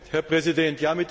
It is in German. Herr Präsident!